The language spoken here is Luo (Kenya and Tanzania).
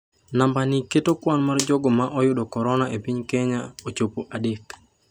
Namba ni keto kwan mar jogo ma oyudo korona e piny Kenya ochopo adek.